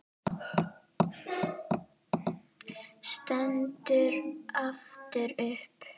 Stendur aftur upp.